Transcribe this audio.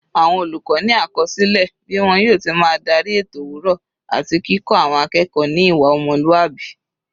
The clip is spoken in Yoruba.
Àwọn olùkọ́ ni àkọsílẹ bí wọn yóò ti máa darí ètò òwúrọ̀ àti kíkọ́ àwọn akẹ́kọ̀ọ́ ní ìwà ọmọlúwàbí.